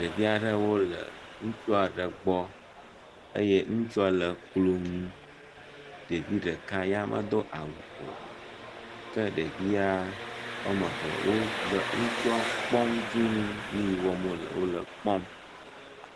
Ɖevi aɖewo le ŋutsu aɖe gbɔ eye ŋutsua le klo nu. ɖevi ɖeka ya medo awu o ke ɖevia woame eve wo le ŋutsua kpɔm dũu nu yi wɔm wòle wole ekpɔm.